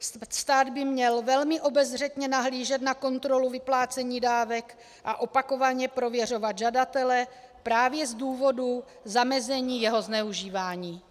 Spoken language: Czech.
Stát by měl velmi obezřetně nahlížet na kontrolu vyplácení dávek a opakovaně prověřovat žadatele právě z důvodu zamezení jeho zneužívání.